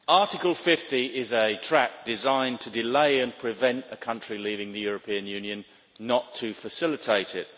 Mr President, Article 50 is a trap designed to delay and prevent a country leaving the European Union, not to facilitate it.